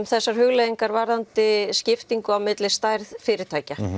þessar hugleiðingar varðandi skiptingu á milli stærð fyrirtækja